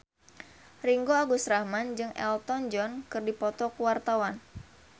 Ringgo Agus Rahman jeung Elton John keur dipoto ku wartawan